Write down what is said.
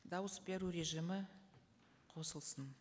дауыс беру режимі қосылсын